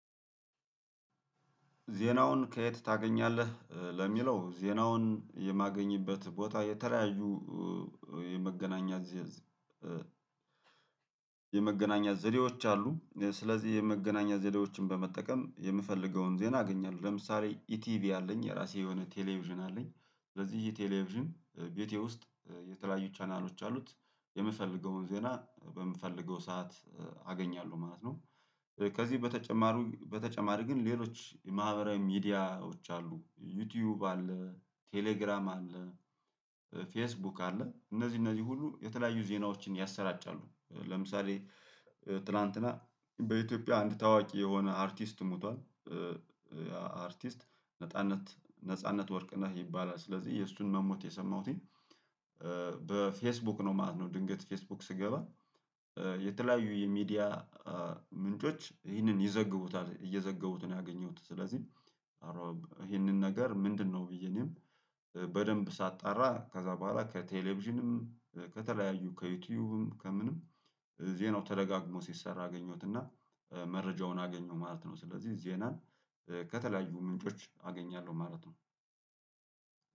ዜናውን ከየት ታገኛለህ? ለሚለው ዜናውን የማገኝበት ቦታ የተለያዩ የመገናኛ የመገናኛ ዘዴዎች አሉ ስለዚህ የመገናኛ ዘዴዎችን በመጠቀም የምፈልገውን ዜና አገኛለሁ። ለምሳሌ ኢቲቪ አለኝ የራሴ የሆነ ቴሌቪዥን አለኝ። ለዚህ ቴሌቪዥን ቤቴ ውስጥ የተለያዩ ቻናሎች አሉት የምፈልገውን ዜና በምፈልገው ሰዓት አገኛለሁ ማለት ነው። ከዚህ በተጨማሩ በተጨማሪ ግን ሌሎች የማህበራዊ ሚዲያዎች አሉ ዩቲዩብ አለ ቴሌግራም አለ ፌስቡክ አለ። እነዚህ እነዚህ ሁሉ የተለያዩ ዜናዎችን ያሰራጫሉ። ለምሳሌ ትላንትና በኢትዮጵያ አንድ ታዋቂ የሆነ አርቲስት ሞቷል። አርቲስት ነጻነት ነጻነት ወርቅ ነህ ይባላል ስለዚህ የእሱን መሞት የሰማሁትኝ በፌስቡክ ነው ማለት ነው። ድንገት ፌስቡክ ስገባ የተለያዩ የሚዲያ ምንጮች ይህንን ይዘግቡታል እየዘገቡት ነው ያገኘሁት። ስለዚህ አረግ ይሄንን ነገር ምንድነው? ብዬ እኔም በደንብ ሳጣራ ከዛ በኋላ ከቴሌቪዥንም ከተለያዩ ከዩቲዩብም ከምንም ዜናው ተደጋግሞ ሲሰራ አገኘሁት እና መረጃውን አገኘሁ ማለት ነው። ስለዚህ ዜናን ከተለያዩ ምንጮች አገኛለሁ ማለት ነው።